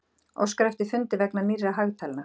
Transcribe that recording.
Óskar eftir fundi vegna nýrra hagtalna